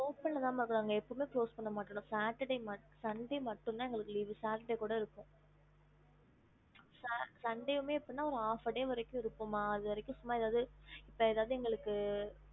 ஹம்